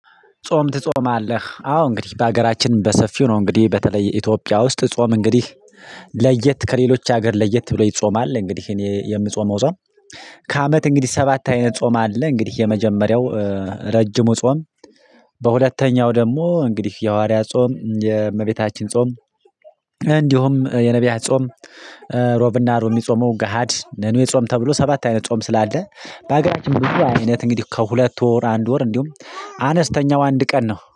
ጾም ትጾማለህ አዎ እንግዲህ በሀገራችን በሰፊው ነው እንግዲህ በተለይ ኢትዮጵያ ውስጥ ጾም እንግዲህ ለየት ከሌሎች ሀገር ለየት ብሎ ይጾማል እንግዲህ እኔ የምጾመው ጾም ከአመት እንግዲህ ሰባት አይነት ጾም አለ እንግዲህ የመጀመሪያው ረጅሙ ጾም በሁለተኛው ደግሞ እንግዲህ የሐዋርያ ጾም የእመቤታችን ጾም እንዲሁም የነብያት ጾም እሮብ እና አርብ እሚጾመው ገሃድ ነኑ የጾም ተብሎ ሰባት አይነት ጾም ስላለ በሀገራችን ብዙ አይነት እንግዲህ ከሁለት ወር አንድ ወር እንዲሁም አነስተኛው አንድ ቀን ነው።